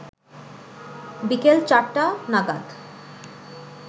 বিকাল ৪টা নাগাদ